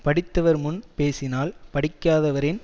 படித்தவர் முன் பேசினால் படிக்காதவரின்